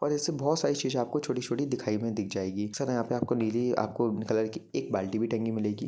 और ऐसी बहुत सारी चीजे आपको छोटी-छोटी दिखाई में दिख जायेगी सर यहां पर आपको नीली आपको कलर की एक बाल्टी भी टंगी मिलेगी।